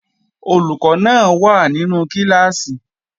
Olùkọ́ náà wà nínú kíláàsì